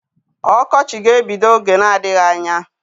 Ọkọchị ga-ebido oge na-adịghị anya.